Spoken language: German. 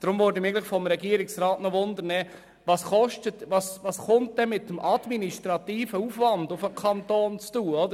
Ich möchte deswegen vom Regierungsrat wissen, welcher administrative Aufwand für das Ferienbetreuungsangebot auf den Kanton zukommt.